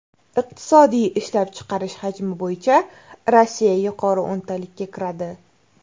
Iqtisodiy ishlab chiqarish hajmi bo‘yicha Rossiya yuqori o‘ntalikka kiradi.